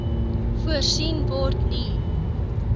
voorsien word nie